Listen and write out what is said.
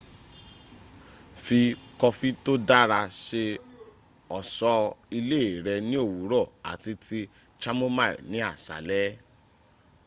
fi coffee to ó dára ṣe ọ̀ṣọ́ ilé rẹ̀ ní òwúrọ̀ àti tíì chamomile ní àṣálẹ́